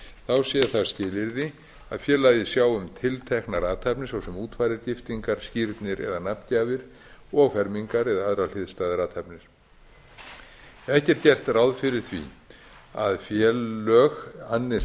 þá sé það skilyrði að félagið sjái um tilteknar athafnir svo sem útfarir giftingar skírnir eða nafngjafir og fermingar eða aðrar hliðstæðar athafnir ekki er gert ráð fyrir því að félög annist